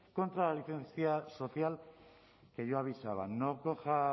contra la licencia social que yo avisaba no coja